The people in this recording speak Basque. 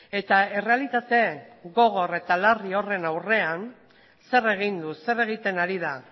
eta errealitate gogor eta larri horren aurrean zer egin du zer egiten ari da